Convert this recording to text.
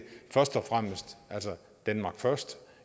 denmark first